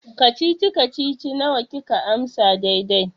Kacici-kacici nawa kika amsa daidai?